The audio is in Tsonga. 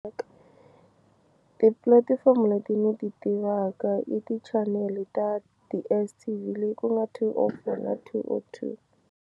Tipulatifomo leti ndzi ti tivaka i ti chanel ta DSTV leyi ku nga two oh four na two oh two.